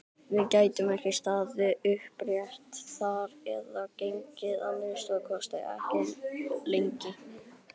Við gætum ekki staðið upprétt þar eða gengið, að minnsta kosti ekki lengi!